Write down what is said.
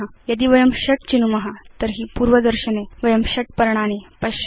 यदि वयं ६ चिनुम तर्हि पूर्वदर्शने वयं ६ पर्णानि पश्याम